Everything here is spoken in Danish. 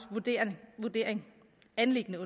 anliggende